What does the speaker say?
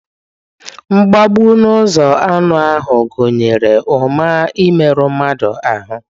Mgbegbu n'ụzọ anụ ahụ gụnyere ụma imerụ mmadụ ahụ́